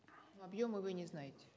объемы вы не знаете